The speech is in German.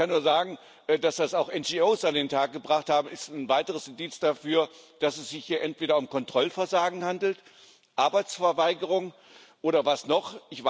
Ich kann nur sagen, dass das auch NGO an den Tag gebracht haben, ist ein weiteres Indiz dafür, dass es sich hier entweder um Kontrollversagen handelt, Arbeitsverweigerung, oder was noch?